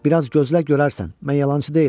Bir az gözlə görərsən, mən yalançı deyiləm.